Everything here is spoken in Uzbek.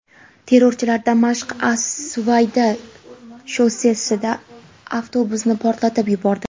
Terrorchilar Damashq–as-Suvayda shossesida avtobusni portlatib yubordi.